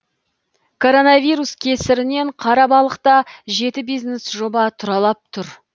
коронавирус кесірінен қарабалықта жеті бизнес жоба тұралап тұр